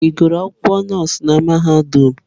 Ị gụrụ akwụkwọ nọọsụ na mahadum?